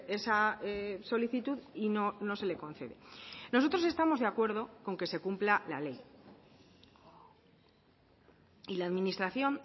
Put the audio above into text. esa solicitud y no se le concede nosotros estamos de acuerdo con que se cumpla la ley y la administración